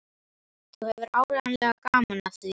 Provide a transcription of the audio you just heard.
Þú hefðir áreiðanlega gaman af því.